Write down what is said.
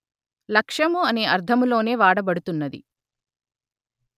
లక్ష్యము అనే అర్థములోనే వాడబడుతున్నది